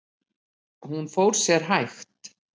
Hún fór sér hægt.